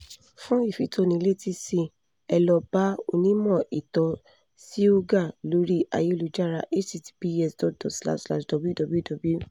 fún ìfitónilétí síi ẹ lọ bá onímọ̀ ìtọ̀ síúgà lórí ayélujára https://www